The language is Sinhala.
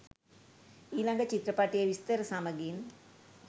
ඊළඟ චිත්‍රපටයේ විස්තර සමගින්